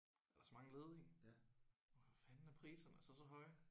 Det er også mange ledige. Hvorfor fanden er priserne så så høje?